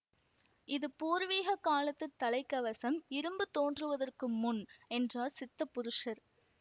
இது பூர்வீக காலத்து தலைக் கவசம் இரும்பு தோன்றுவதற்கு முன் என்றார் ஸித்த புருஷர்